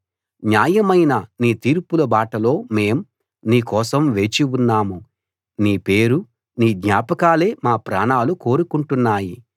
న్యాయమైన నీ తీర్పుల బాటలో మేం నీ కోసం వేచి ఉన్నాము నీ పేరు నీ జ్ఞాపకాలే మా ప్రాణాలు కోరుకుంటున్నాయి